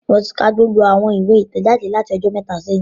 Mo ti ka gbogbo awọn iwe itẹjade lati ọjọ mẹta sẹhin